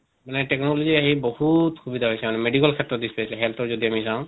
মানে technology আহি বহুত সুবিধা হৈছে মানে medical ক্ষেত্ৰত specially health ৰ যদি আমি যাওঁ